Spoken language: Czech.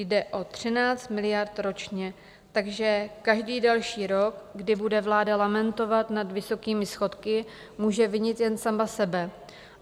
Jde o 13 miliard ročně, takže každý další rok, kdy bude vláda lamentovat nad vysokými schodky, může vinit jen sama sebe.